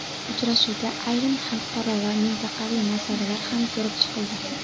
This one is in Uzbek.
Uchrashuvda ayrim xalqaro va mintaqaviy masalalar ham ko‘rib chiqildi.